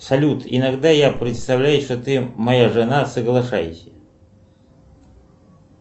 салют иногда я представляю что ты моя жена соглашайся